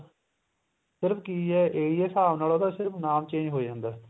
ਪਰ ਕੀ ਏ ਇਹੀ ਹਿਸਾਬ ਨਾਲ ਉਹਦਾ ਸਿਰਫ ਨਾਮ change ਹੋ ਜਾਂਦਾ